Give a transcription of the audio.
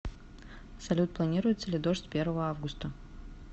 салют планируется ли дождь первого августа